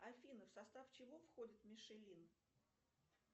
афина в состав чего входит мишелин